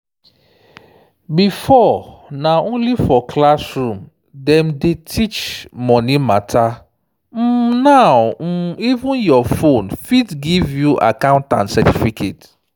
before na only for classroom dem dey teach money matter um now um even your phone fit give you accountant certificate.